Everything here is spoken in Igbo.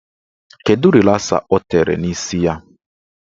Kedụ rịlasa ọ tere n'isi ya?